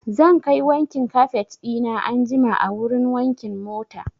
Zan kai wankin kafet ɗina anjima a wurin wankin mota.